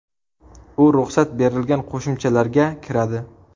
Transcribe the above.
U ruxsat berilgan qo‘shimchalarga kiradi.